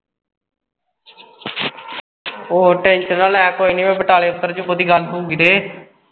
ਓਹ tension ਨਾ ਲੈ ਕੋਈ ਨੀ ਮੈਂ ਬਟਾਲੇ ਉਤਰ ਜਾਊਂ ਬਹੁਤੀ ਗੱਲ ਹੋਊਗੀ ਤੇ